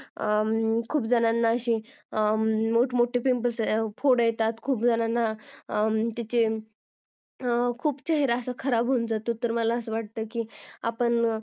खूप जणांना खूप मोठे फोड येतात खुप जणांचा खुप चेहरा खराब होवून जातो